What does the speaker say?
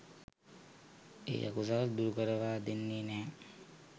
ඒ අකුසල් දුරුකරවා දෙන්නෙ නැහැ.